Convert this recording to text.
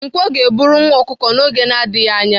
Nkwọ ga-eburu nwa ọkụkụ n'oge na-adịghị anya.